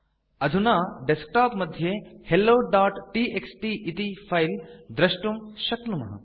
अधुना डेस्कटॉप मध्ये helloटीएक्सटी इति फिले दृष्टुं शक्नुमः